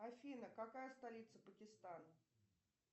афина какая столица пакистана